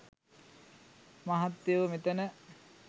මහත්තයො මෙතන